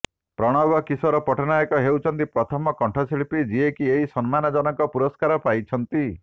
ପ୍ରଣବ କିଶୋର ପଟ୍ଟନାୟକ ହେଉଛନ୍ତି ପ୍ରଥମ କଣ୍ଠଶିଳ୍ପୀ ଯିଏକି ଏହି ସମ୍ମାନଜନକ ପୁରସ୍କାର ପାଇଛନ୍ତି